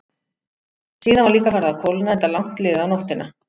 Síðan var líka farið að kólna, enda langt liðið á nóttina.